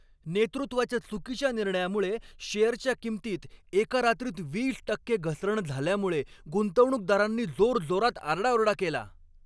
नेतृत्वाच्या चुकीच्या निर्णयामुळे शेअरच्या किंमतीत एका रात्रीत वीस टक्के घसरण झाल्यामुळे गुंतवणूकदारांनी जोरजोरात आरडाओरडा केला.